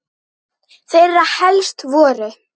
Þeirra helst voru